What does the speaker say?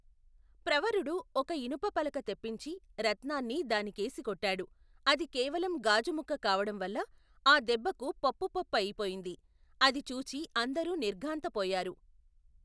ప్రవరుడు ఒక ఇనప పలక తెప్పించి రత్నాన్ని దానికేసి కొట్టాడు అది కేవలం గాజుముక్క కావడంవల్ల ఆ దెబ్బకు పప్పు పప్పయిపోయింది అది చూచి అందరూ నిర్ఘాంతపోయారు.